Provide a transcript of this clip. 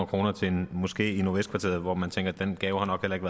kroner til en moské i nordvestkvarteret hvor man tænker at den gave nok heller ikke